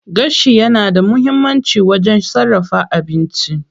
Gashi yana da muhimmanci wajen sarrafa abinci.